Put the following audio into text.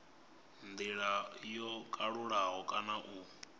ndila yo kalulaho kana u